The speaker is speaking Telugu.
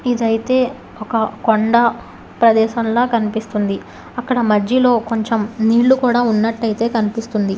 ఇదైతే ఒక కొండ ప్రదేశంలా కనిపిస్తుంది అక్కడ మధ్యలో కొంచెం నీళ్లు కూడా ఉన్నట్టయితే కనిపిస్తుంది.